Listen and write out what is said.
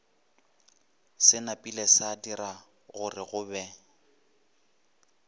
se napilego sadira gorego be